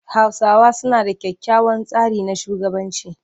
Hausawa suna da kyakkyawan tsari na shugabanci.